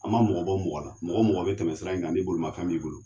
An ma mɔgɔ bɔ mɔgɔ la, mɔgɔ o mɔgɔ bɛ tɛmɛ sira in ka ni bolimafɛn b'i bolo.